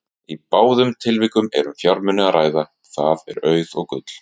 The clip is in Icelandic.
Í báðum tilvikunum er um fjármuni að ræða, það er auð og gull.